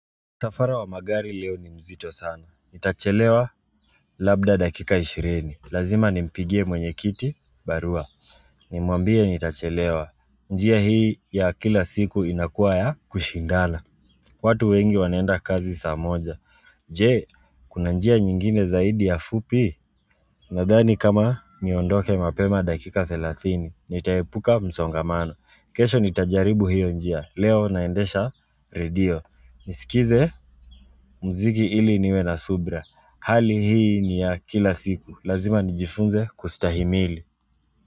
Msafara wa magari leo ni mzito sana. Nitachelewa labda dakika 20. Lazima nimpigie mwenye kiti barua. Nimuambie nitachelewa. Njia hii ya kila siku inakuwa ya kushindana. Watu wengi wanaenda kazi saamoja. Jee, kuna njia nyingine zaidi ya fupi. Nadhani kama niondoke mapema dakika 30. Nitaepuka msongamano. Kesho nitajaribu hiyo njia. Leo naendesha radio. Nisikilize muziki ili niwe na subira Hali hii ni ya kila siku Lazima nijifunze kustahimili.